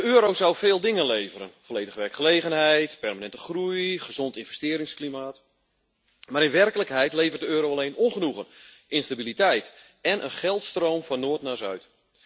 Voorzitter, de euro zou veel dingen leveren volledige werkgelegenheid, permanente groei, gezond investeringsklimaat. Maar in werkelijkheid levert de euro alleen ongenoegen, instabiliteit en een geldstroom van Noord naar Zuid.